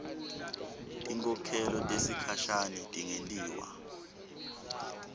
tinkhokhelo tesikhashane tingentiwa